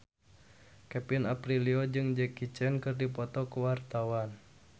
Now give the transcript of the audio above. Kevin Aprilio jeung Jackie Chan keur dipoto ku wartawan